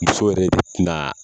Muso yɛrɛ tɛ na